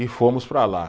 E fomos para lá.